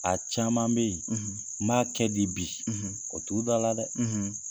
A caman bɛ yen n b'a kɛ di bi o t'u da la dɛ!